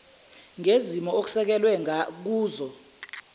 ngezimo okusekelwe kuzo